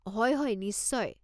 হয় হয় নিশ্চয়।